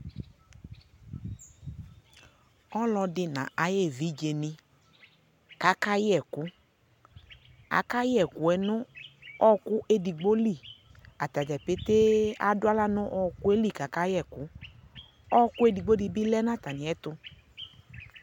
ɔlɔdi na ayevijeni kakayɛku akayɛ ɛkueno ɔku edigboli atajapetee aduala no ɔkueli kakayɛku ɔku edigbo dibi lɛ na atamiɛtu